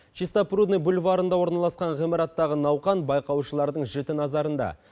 чистопрудный бульварында орналасқан ғимараттағы науқан байқаушылардың жіті наразарында